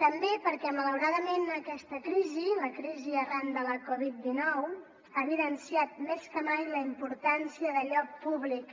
també perquè malauradament aquesta crisi la crisi arran de la coviddinou ha evidenciat més que mai la importància d’allò públic